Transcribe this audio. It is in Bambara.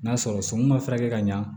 N'a sɔrɔ sɔmi ma furakɛ ka ɲa